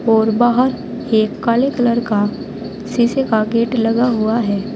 और बाहर एक काले कलर का शीशे का गेट लगा हुआ है।